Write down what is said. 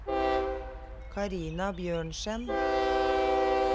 Karina Bjørnsen